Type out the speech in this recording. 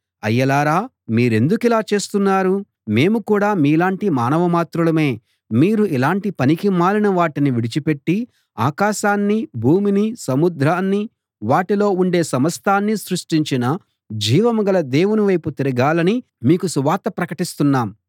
అయ్యలారా మీరెందుకిలా చేస్తున్నారు మేము కూడా మీలాంటి మానవమాత్రులమే మీరు ఇలాంటి పనికిమాలిన వాటిని విడిచిపెట్టి ఆకాశాన్నీ భూమినీ సముద్రాన్నీ వాటిలో ఉండే సమస్తాన్నీ సృష్టించిన జీవంగల దేవుని వైపు తిరగాలని మీకు సువార్త ప్రకటిస్తున్నాం